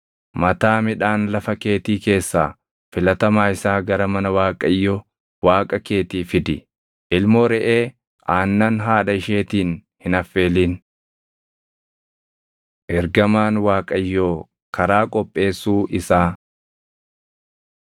“Mataa midhaan lafa keetii keessaa filatamaa isaa gara mana Waaqayyo Waaqa keetii fidi. “Ilmoo reʼee aannan haadha isheetiin hin affeelin. Ergamaan Waaqayyoo Karaa Qopheessuu Isaa